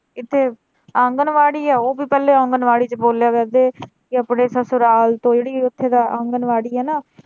ਇਥੇ ਆਂਗਣਵਾੜੀ ਹੈ ਉਹ ਵੀ ਪਹਿਲੇ ਆਂਗਣਵਾੜੀ ਚ ਕਹਿੰਦੇ ਆਪਣੇ ਸਸੁਰਾਲ ਓਥੇ ਦਾ ਆਂਗਣਵਾੜੀ ਏ ਨਾ।